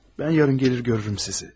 Mən yarın gəlir görərəm sizi.